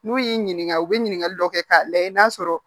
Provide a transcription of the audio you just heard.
N'u y'i ɲininka u bɛ ɲininkali dɔ kɛ k'a lajɛ n'a sɔrɔ